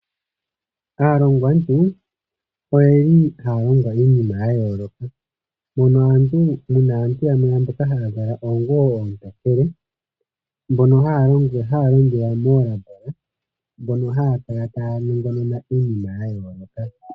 Aalongwantu oyeli haya longo iinima ya yooloka mono muna aantu yamwe mboka haya kala oonguwo oontokele mbono haya longelwa moolambola, mbono haya kala tsya nongonona iinima ya yooloka.